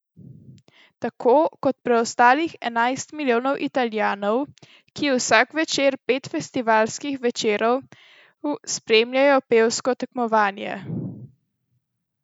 Tako kot preostalih enajst milijonov Italijanov, ki vsak večer pet festivalskih večerov spremljajo pevsko tekmovanje.